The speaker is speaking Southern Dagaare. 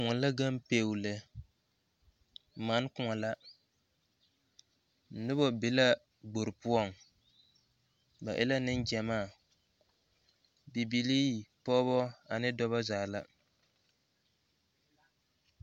Kõɔ la ga peɛlɛ mane kõɔ la noba be la kpore poɔ ba e neŋ gyemaa bibili pɔge ane dɔɔ zaa la